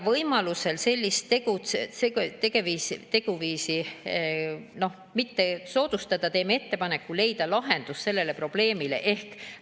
Et sellist teguviisi mitte soodustada, teevad nad ettepaneku leida sellele probleemile lahendus.